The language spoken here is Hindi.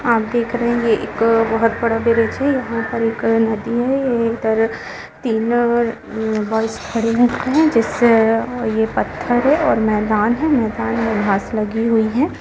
आप देख रहे है यह एक बहुत बड़ा ब्रिज है यहां पर एक नदी है ए इधर तीन और बॉयस खड़े है जिससे ये पत्थर है और मैदान है मैदान पर घास लगी हुई है।